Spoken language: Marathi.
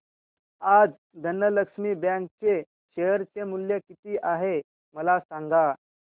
आज धनलक्ष्मी बँक चे शेअर चे मूल्य किती आहे मला सांगा